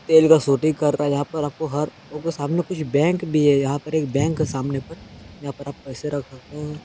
तेल का शूटिंग कर रहा है यहां पर आपको हर आपको सामने कुछ बैंक भी है यहां पर एक बैंक है सामने पर जहां पर आप पैसे रख सकते हैं।